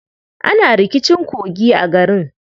Ana rikicin kogi a garin.